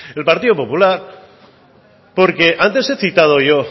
el partido popular porque antes he citado yo